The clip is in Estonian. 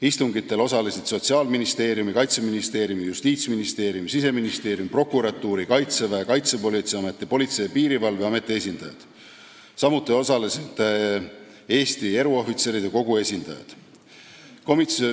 Istungitel osalesid Sotsiaalministeeriumi, Kaitseministeeriumi, Justiitsministeeriumi, Siseministeeriumi, prokuratuuri, Kaitseväe, Kaitsepolitseiameti, Politsei- ja Piirivalveameti esindajad, samuti osalesid Eesti Eruohvitseride Kogu esindajad.